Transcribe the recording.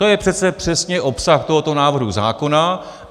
To je přece přesně obsah tohoto návrhu zákona.